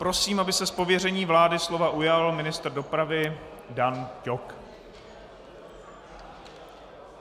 Prosím, aby se z pověření vlády slova ujal ministr dopravy Dan Ťok.